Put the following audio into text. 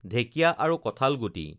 ঢেঁকীয়া আৰু কঠালগুটি